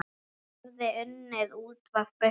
Hann hafði annað útvarp uppi.